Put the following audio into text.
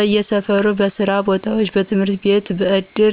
በየሰፈሩ፣ በየስራ ቦታዎች፣ በየትምህርትቤት በእድር፣